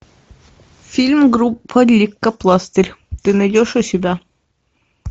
фильм группа лейкопластырь ты найдешь у себя